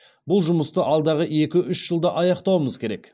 бұл жұмысты алдағы екі үш жылда аяқтауымыз керек